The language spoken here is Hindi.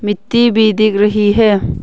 मिट्टी भी दिख रही है।